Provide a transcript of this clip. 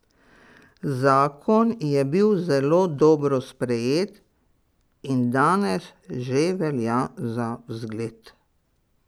Zakon je bil zelo dobro sprejet in danes že velja za zgled.